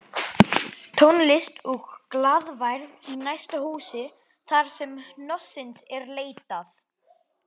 Tónlist og glaðværð í næsta húsi þarsem hnossins er leitað